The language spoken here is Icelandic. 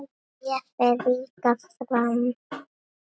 Þér fer líka fram.